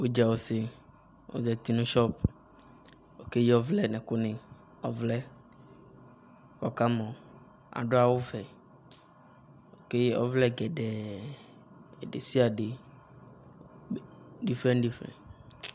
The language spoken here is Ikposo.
udza ɔse ozati no shop keyi ɔvlɛ no ɛko ni ko ɔka mɔ ado awu vɛ ko ɔvlɛ gɛde desiade